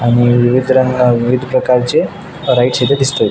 आणि विविध रंगा विविध प्रकारचे वराइट्स इथे दिसते.